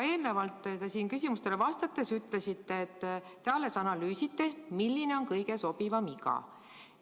Eelnevalt küsimustele vastates ütlesite, et te alles analüüsite, milline on kõige sobivam iga.